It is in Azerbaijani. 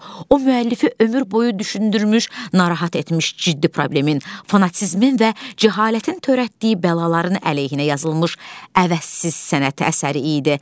O müəllifi ömür boyu düşündürmüş, narahat etmiş ciddi problemin, fanatizmin və cəhalətin törətdiyi bəlaların əleyhinə yazılmış əvəzsiz sənət əsəri idi.